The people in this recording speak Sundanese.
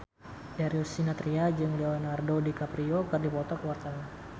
Darius Sinathrya jeung Leonardo DiCaprio keur dipoto ku wartawan